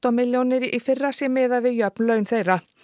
milljónir í fyrra sé miðað við jöfn laun þeirra